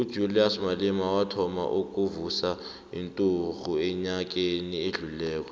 ujulias malema wathoma ukuvusa inturhu enyakeni odlulileko